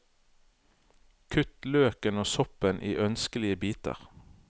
Kutt løken og soppen i ønskelige biter.